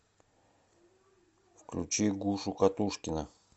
включи гушу катушкина